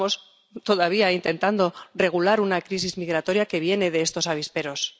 Estamos todavía intentando regular una crisis migratoria que viene de estos avisperos.